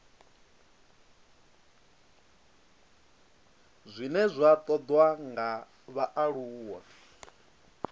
zwine zwa ṱoḓwa nga vhaaluwa